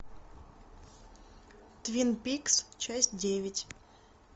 твин пикс часть девять